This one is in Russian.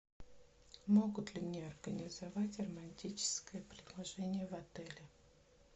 могут ли мне организовать романтическое предложение в отеле